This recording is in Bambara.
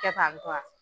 Kɛ tan tɔ